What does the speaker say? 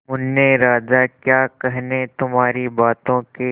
मुन्ने राजा क्या कहने तुम्हारी बातों के